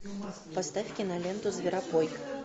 поставь киноленту зверобой